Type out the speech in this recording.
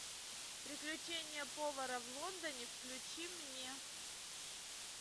приключения повара в лондоне включи мне